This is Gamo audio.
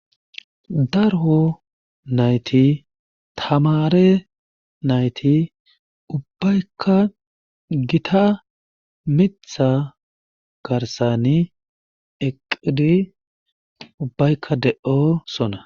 Daro nayti tamare nayti ubaykka gita miththa garssani eqqidi ubaykka de'osona